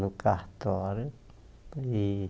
No cartório. E